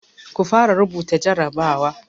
Ku fara rubuta jarabawa!